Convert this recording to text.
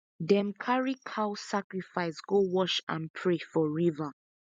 them carry cow sacrifice go wash and pray for river